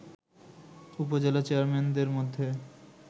উপজেলা চেয়ারম্যানদের মধ্যে